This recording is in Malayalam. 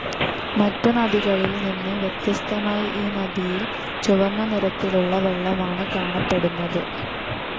മറ്റുനദികളിൽ നിന്ന് വ്യത്യസ്തമായി ഈ നദിയിൽ ചുവന്ന നിറത്തിലുള്ള വെള്ളമാണ് കാണപ്പെടുന്നത്.